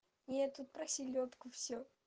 нет тут про селёдку всё